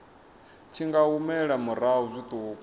tshi nga humela murahu zwiṱuku